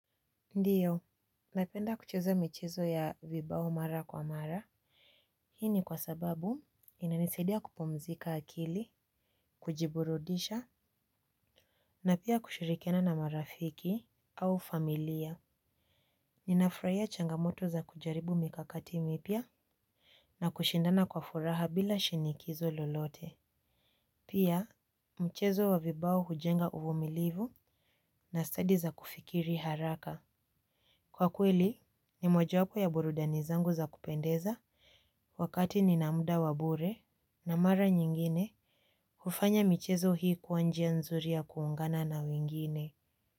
Ndiyo, napenda kucheza michezo ya vibao mara kwa mara. Hii ni kwa sababu, inanisaidia kupumzika akili. Kujiburudisha na pia kushirikiana na marafiki au familia. Ninafurahia changamoto za kujaribu mikakati mipya. Na kushindana kwa furaha bila shinikizo lolote. Pia, mchezo wa vibao hujenga uvumilivu. Na stadi za kufikiri haraka. Kwa kweli, ni mojawapo ya burudani zangu za kupendeza. Wakati nina muda wa bure na mara nyingine kufanya michezo hii kuwa njia nzuri ya kuungana na wengine.